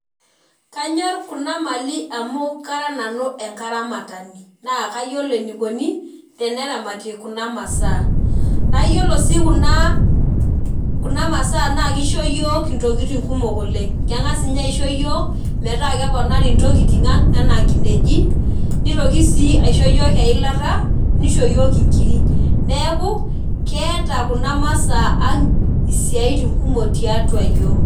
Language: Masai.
Kanyor kuna mali amu kara nanu enkaramatani naa kayiolo enikoni teneramati kuna masaa naa yiolo sii kuna , kuna masaa naa kisho yiok intokitin kumok oleng, kengas ninye ninye aisho iyiok metaa keponari ntokitin ang enaa nkineji , nitoki sii aisho yiok eilata , nisho yiok inkiri, neeku keeta kuna ,masaa ang isiatin kumok tiatua iyiok.